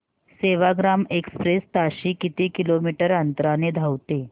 Sevagram express ताशी किती kilometre अंतराने धावते